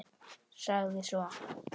Sagði svo